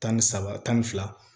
Tan ni saba tan ni fila